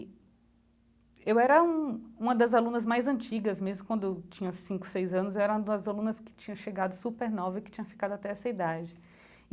Eu era um uma das alunas mais antigas, mesmo quando tinha cinco, seis anos, eu era uma das alunas que tinha chegado supernova e que tinha ficado até essa idade.